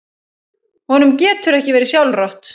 Honum getur ekki verið sjálfrátt.